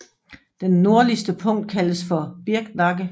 Den nordligste punkt kaldes for Birknakke